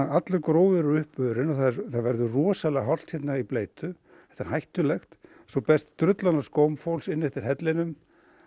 allur gróður er uppurinn og það verður rosalega hált hérna í bleytu þetta er hættulegt svo berst drullan af skóm fólks inn eftir hellinum